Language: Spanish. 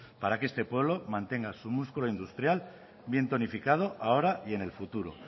para que este pueblo mantenga su músculo industrial bien planificado ahora y en el futuro